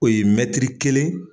O ye kelen